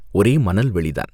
ஒரே மணல் வெளிதான்.